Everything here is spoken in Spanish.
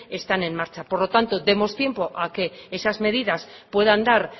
están en marcha por lo tanto demos tiempo a que esas medidas puedan dar